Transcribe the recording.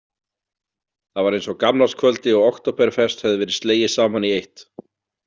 Það var eins og gamlárskvöldi og októberfest hefði verið slegið saman í eitt.